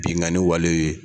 Binkanni wale ye.